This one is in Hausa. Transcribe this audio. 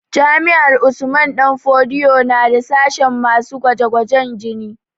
Jami'ar Usman danfodiyo na da sashen masu gwaje gwajen jini